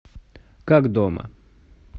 как дома